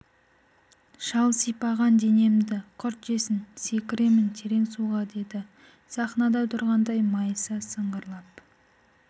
шал сипаған денемді құрт жесін секіремін терең суға деді сахнада тұрғандай майыса сыңғырлап